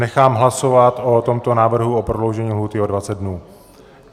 Nechám hlasovat o tomto návrhu o prodloužení lhůty o 20 dnů.